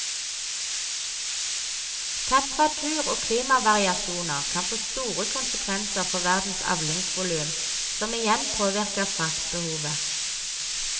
Temperatur og klimavariasjoner kan få store konsekvenser for verdens avlingsvolum, som igjen påvirker fraktbehovet.